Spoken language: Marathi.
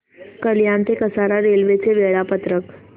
कल्याण ते कसारा रेल्वे चे वेळापत्रक